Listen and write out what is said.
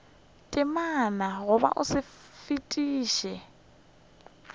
temana goba o sa fetišwe